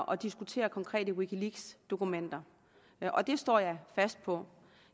og diskutere konkrete wikileaksdokumenter og det står jeg fast på